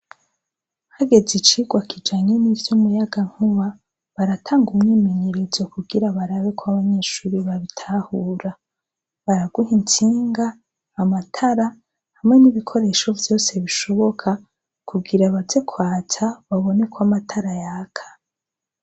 Hageze icigwa kijanye nivy' umuyagankuba baratanga umyimenyerezo kugira barabe ko abanyeshuri babitahura baraguha intsinga amatara nomubikoresho vyose bishoboka kugira baze kwatsa barebe ko amatara yaka.